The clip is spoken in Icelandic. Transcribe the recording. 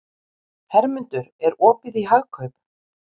Hermundur, er opið í Hagkaup?